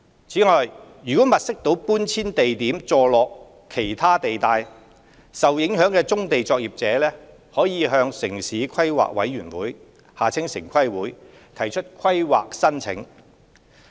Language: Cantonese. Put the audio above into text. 此外，如物色到的搬遷地點座落其他地帶，受影響棕地作業者可向城市規劃委員會提出規劃申請。